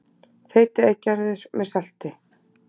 Þeytið eggjarauður með salti.